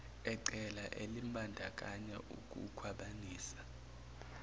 ecala elimbandakanya ukukhwabanisa